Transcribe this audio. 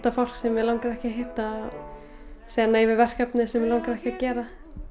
fólk sem mig langaði ekki að hitta og segja nei við verkefnum sem mig langaði ekki að gera